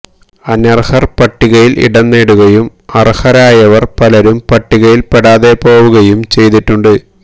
അനര്ഹര് പട്ടിയില് ഇടം നേടുകയും അര്ഹരായവര് പലരും പട്ടികയില് പെടാതെ പോവുകയും ചെയ്തിട്ടുണ്ട്